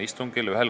Head kolleegid!